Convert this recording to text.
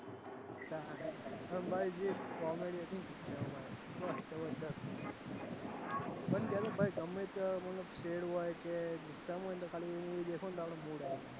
અને ભાઈ જે comedy હતી એમાં ભાઈ જબરજસ્ત હતી પણ ગમે ત્યાં મતલબ તો આપડો mood આવી જાય.